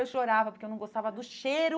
Eu chorava porque eu não gostava do cheiro